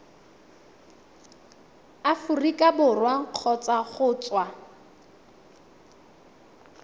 aforika borwa kgotsa go tswa